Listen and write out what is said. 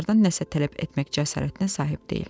Çardan nəsə tələb etmək cəsarətinə sahib deyil.